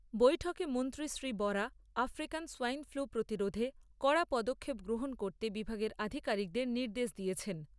বৈঠকে মন্ত্রী Shri Bora African swine flu প্রতিরোধে কড়া পদক্ষেপ গ্রহণ করতে বিভাগের আধিকারিকদের নির্দেশ দিয়েছেন।